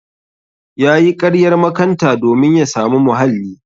Yayi ƙaryar makanta domin ya samu muhalli.